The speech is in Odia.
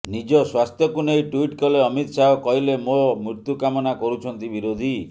ନିଜ ସ୍ୱାସ୍ଥ୍ୟକୁ ନେଇ ଟ୍ୱିଟ୍ କଲେ ଅମିତ ଶାହ କହିଲେ ମୋ ମୃତ୍ୟୁ କାମନା କରୁଛନ୍ତି ବିରୋଧୀ